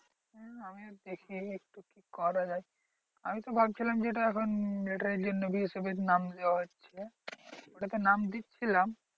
হম আমিও দেখি একটু কি করা যায়? আমি তো ভাবছিলাম যে এটা এখন military এর জন্য BSF এ নাম দেওয়া হচ্ছে সেটা তে নাম দিচ্ছিলাম।